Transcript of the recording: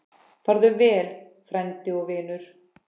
Farðu vel, frændi og vinur.